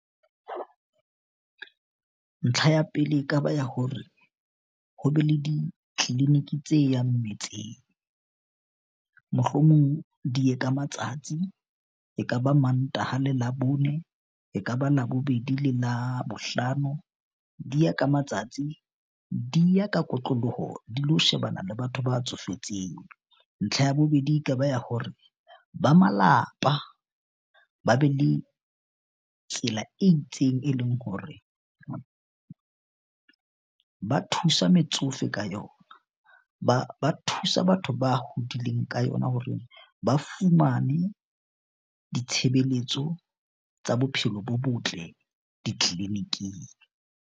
Ntlha ya pele, ekaba ya hore ho be le di-clinic-i tse yang metseng, mohlomong di ye ka matsatsi e kaba Mantaha le Labone, ekaba Labobedi le Labohlano di ya ka kotloloho, di lo shebana le batho ba tsofetseng. Ntlha ya bobedi, e kaba ya hore ba malapa ba be le tsela e itseng, e leng hore ba thusa metsofe ka yona, ba thusa batho ba hodileng ka yona hore ba fumane ditshebeletso tsa bophelo bo botle di-clinic-ing.